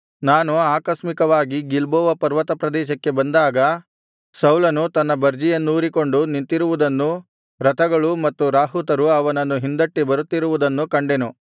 ನಾನು ಆಕಸ್ಮಿಕವಾಗಿ ಗಿಲ್ಬೋವ ಪರ್ವತಪ್ರದೇಶಕ್ಕೆ ಬಂದಾಗ ಸೌಲನು ತನ್ನ ಬರ್ಜಿಯನ್ನೂರಿಕೊಂಡು ನಿಂತಿರುವುದನ್ನೂ ರಥಗಳು ಮತ್ತು ರಾಹುತರು ಅವನನ್ನು ಹಿಂದಟ್ಟಿ ಬರುತ್ತಿರುವುದನ್ನೂ ಕಂಡೆನು